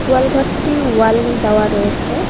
গোয়াল ঘরটি ওয়াল দেওয়া রয়েছে।